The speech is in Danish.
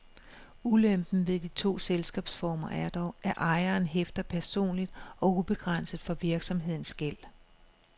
Ulempen ved de to selskabsformer er dog, at ejeren hæfter personligt og ubegrænset for virksomhedens gæld.